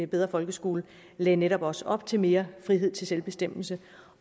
bedre folkeskole lagde netop også op til mere frihed til selvbestemmelse